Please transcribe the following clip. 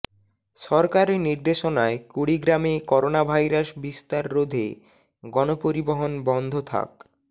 সরকারি নির্দেশনায় কুড়িগ্রামে করোনাভাইরাস বিস্তার রোধে গণপরিবহন বন্ধ থাক